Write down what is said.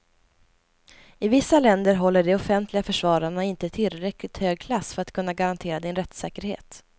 I vissa länder håller de offentliga försvararna inte tillräckligt hög klass för att kunna garantera din rättssäkerhet.